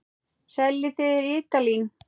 Seljið þið rítalín?